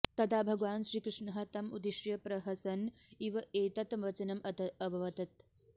तदा भगवान् श्रीकृष्णः तम् उद्दिश्य प्रहसन् इव एतत् वचनम् अवदत्